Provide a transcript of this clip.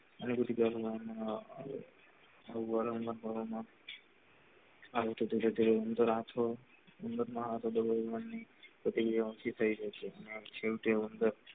હમ આવી તો પછી રાત હોય મતલબ same too you